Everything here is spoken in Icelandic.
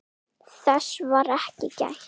Þess var ekki gætt.